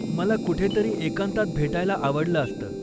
मला कुठेतरी एकांतात भेटायला आवडलं असतं.